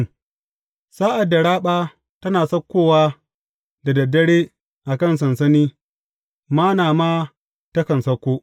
Sa’ad da raɓa tana saukowa da dad dare a kan sansani, Manna ma takan sauko.